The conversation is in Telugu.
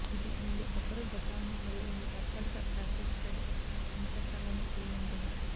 ఇది రెండు రబ్బరు గొట్టాలను మరియు రెండు తాత్కాలిక ప్లాస్టిక్ థ్రెడ్ ఇన్సర్ట్లను కలిగి ఉంటుంది